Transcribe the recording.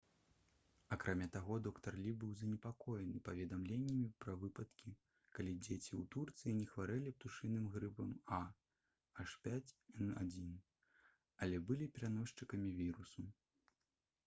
акрамя таго доктар лі быў занепакоены паведамленнямі пра выпадкі калі дзеці ў турцыі не хварэлі птушыным грыпам ah5n1 але былі пераносчыкамі вірусу